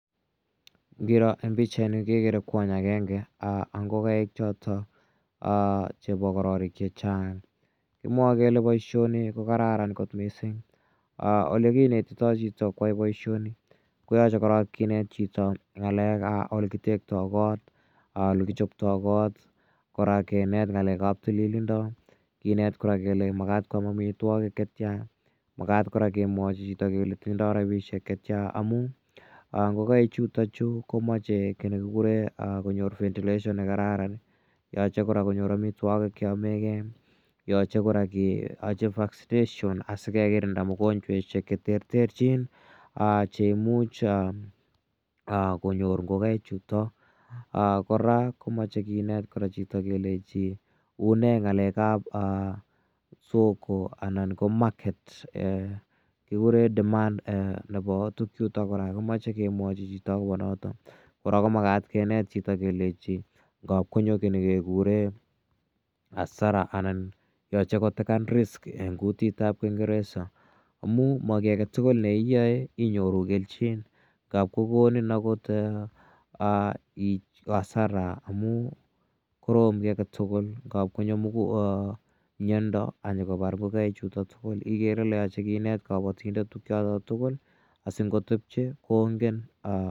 Ngiro en pichani kekere kwony agenge ak ngokaik chotok chepo kororik che chang'. Kimwae kele poishoni ko kararan kot missing'. Ole kinetitai chito koyai poishoni koyache korok kinet chito ng'alekap ole kitektai kot, ole kichotopli kor, kora kinet ng'alek ap tililindo, kinet kora kole ma makat koam amitwogik che tia, makat kora kemwachi chito kole tinye rapishek che tia amu ngokaichutachu komache ki ne kikure konyor ventilation ne kararan, yachr kora konyor amitwogik che yame gei. Yache kora ke achi vaccination asi ke kirinda mogonchweshek che terterchin che imuch konyor ngokaichutok. Kora ko mache kinet kora chito kora kelechi une ng'alek ap soko anan ko market kikure demand nepo tugchutok kora, komache kemwachi chito akopa notok. Kora ko makat kinet chito kelechi ngap konyo ki ne kekure asara anan yache kotekan risk eng' kutit ap kingeresa amu ma ki age tugul ne iyae inyoru kelchin. Ngap kokonin akot arasa amu koron ki age tugul, ngap konyo miondo ak nyukopar ngokaichutok tugul igere ile kaparindet tugchotok tugul asingotepche kongen.